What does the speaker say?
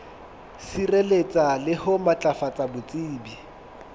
sireletsa le ho matlafatsa botsebi